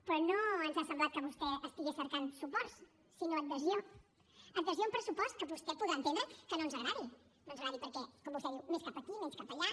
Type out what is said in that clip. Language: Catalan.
però no ens ha semblat que vostè estigués cercant suports sinó adhesió adhesió a un pressupost que vostè podrà entendre que no ens agradi no ens agradi perquè com vostè diu més cap aquí menys cap allà